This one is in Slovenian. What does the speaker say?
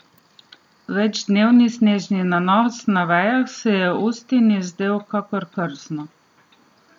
Večdnevni snežni nanos na vejah se je Ustini zdel kakor krzno.